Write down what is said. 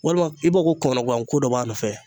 Walima i b'a ko kɔnɔguwan ko dɔ b'a nɔfɛ